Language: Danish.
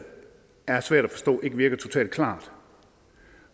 er svært at forstå og ikke virker totalt klart